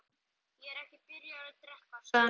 Ég er ekki byrjaður að drekka, sagði hann loks.